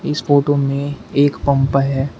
इस फोटो में एक पंप है।